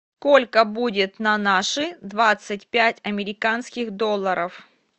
сколько будет на наши двадцать пять американских долларов